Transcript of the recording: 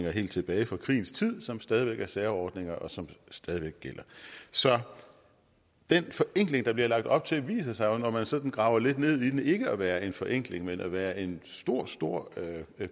helt tilbage fra krigens tid som stadig væk er særordninger og som stadig væk gælder så den forenkling der bliver lagt op til viser sig jo når man sådan graver lidt ned i den ikke at være en forenkling men at være en stor stor